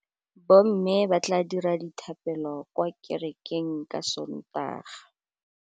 Bommê ba tla dira dithapêlô kwa kerekeng ka Sontaga.